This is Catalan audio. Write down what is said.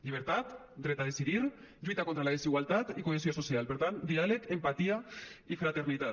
llibertat dret a decidir lluita contra la desigualtat i cohesió social per tant diàleg empatia i fraternitat